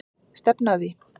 Stefni að því.